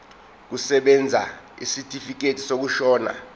kusebenza isitifikedi sokushona